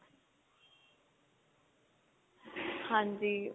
ਹਾਂਜੀ